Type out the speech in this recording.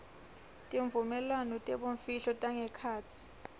tivumelwano tebumfihlo tangekhatsi